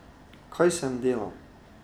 Kaj sem delal?